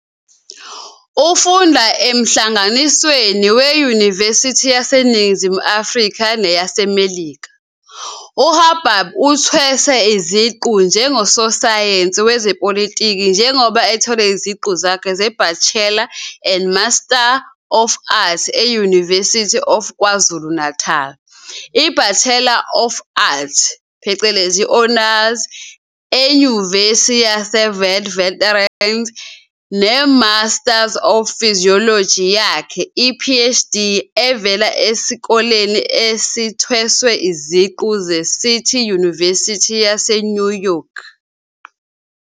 Ufunda emhlanganisweni weyunivesithi yaseNingizimu Afrika neyaseMelika, uHabib uthweswe iziqu njengososayensi wezepolitiki njengoba ethole iziqu zakhe zeBachelor and Master of Arts e-University of KwaZulu-Natal, iBachelor of Arts, Honours, eNyuvesi yase Witwatersrand, ne-MPhil yakhe I-PhD evela eSikoleni Esithweswe Iziqu seCity University yase New York.